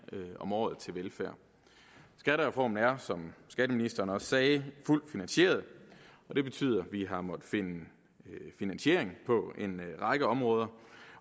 om året til velfærd og skattereformen er som skatteministeren også sagde fuldt finansieret det betyder at vi har måttet finde finansieringen på en række områder